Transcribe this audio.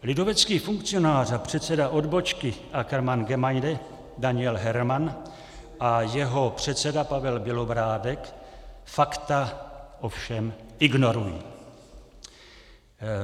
Lidovecký funkcionář a předseda odbočky ACKERMANN Gemeinde Daniel Herman a jeho předseda Pavel Bělobrádek fakta ovšem ignorují.